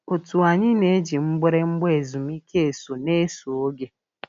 Otu anyị na-eji mgbịrịgba ezumike so n'eso oge.